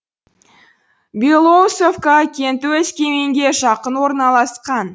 белоусовка кенті өскеменге жақын орналасқан